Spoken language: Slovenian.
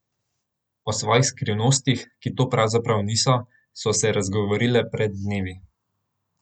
O svojih skrivnostih, ki to pravzaprav niso, so se razgovorile pred dnevi.